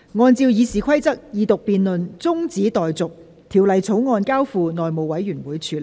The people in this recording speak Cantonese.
按照《議事規則》，二讀辯論中止待續，《條例草案》交付內務委員會處理。